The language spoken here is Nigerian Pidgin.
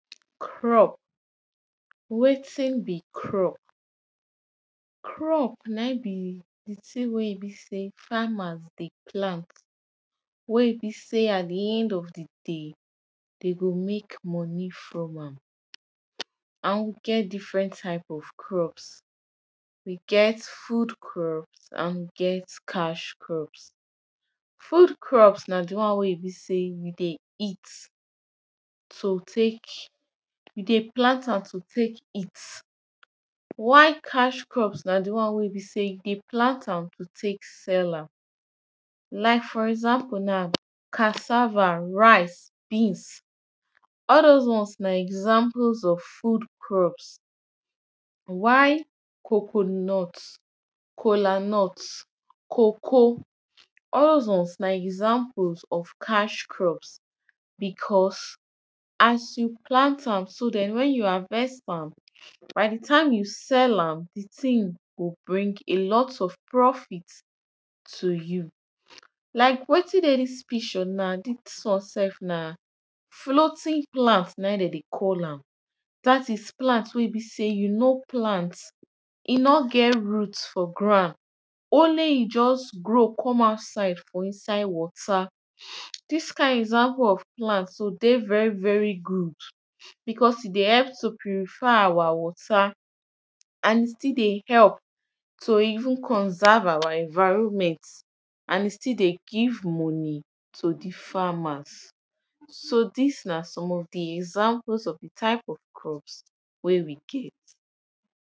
Crop, wetin be crop? Crop na im be di thing wey e sey farmEr dey plant. Wey e be sey at di end of di day, Dem go make money from am, and we get different types of crops, we get food crops and we get cash crops. Food crops na di one wey e be sey we dey eat to take, we dey plant am to take eat. While cash crops na di one wey be sey, we dey plant am to take sell am. Like for example now, cassava, rice, beans. All doz ones na examples of food crops. While coconut, cola nut, coacoa, all doz ones na examples of cash crops. Because as you plant finish, wen you harvest am, by di time you sell am, di thing go bring a lot of profit to you. Like wetin dey dis picture na, dis one sef na floating plant na im dem dey call am. Dat is plant wey e be sey you no plant, e no get root for ground, only im just grow come out for inside water. Dis kind example of plant so dey very very good, because e dey help to purify our water and e dey still dey help, to even conserve our environment. And e still dey give money to di farmers. So dis na some of di examples of di type of crops wey we get.